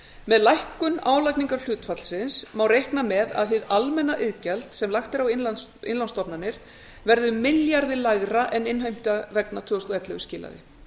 með lækkun álagningarhlutfallsins má reikna með að hið almenna iðgjald sem lagt er á innlánsstofnanir verði milljarði lægra en innheimta vegna tvö þúsund og ellefu skilaði